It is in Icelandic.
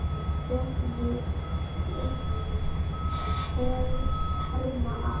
Fregnir herma að.